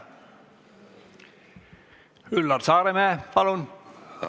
Üllar Saaremäe, palun!